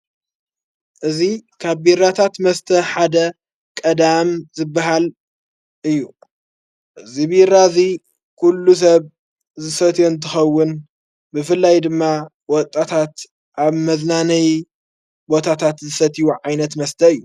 እዙ ካብ ቢራታት መስተ ሓደ ቀዳም ዘበሃል እዩ ። እዝ ብራ እዙይ ኲሉ ሰብ ዘሰትዮ እንትኸውን ብፍላይ ድማ ወጣታት ኣብ መዘናነይ ቦታታት ዘሰትዊ ዓይነት መስተ እዩ።